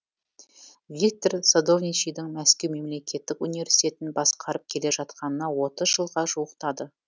виктор садовничидің мәскеу мемлекеттік университетін басқарып келе жатқанына отыз жылға жуықтады